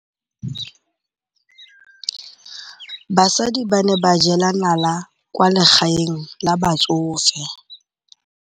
Basadi ba ne ba jela nala kwaa legaeng la batsofe.